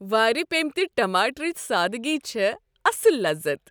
وارِ پپیمتۍ ٹماٹرٕچ سادٕگی چھےٚ اصل لذت۔